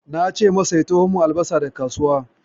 Na ce masa ya taho min da albasa daga kasuwa.